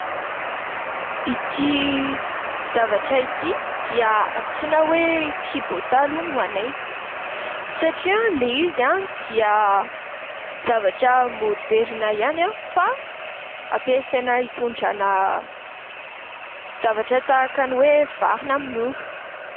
Ity zavatra ity dia antsoina hoe "kibotà" ho anay satria ilay izy dia zavatra moderina ihany fa hampiasaina hitondrana zavatra tahaka ny hoe vary na mololo.